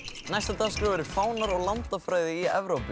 næst á dagskrá eru fánar og landafræði í Evrópu